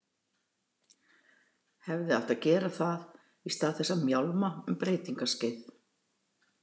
Hefði átt að gera það í stað þess að mjálma um breytingaskeið.